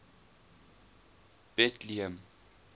betlehem